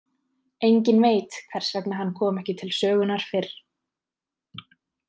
Enginn veit hvers vegna hann kom ekki til sögunnar fyrr.